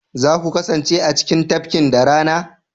za ku kasance a cikin tafkin da rana?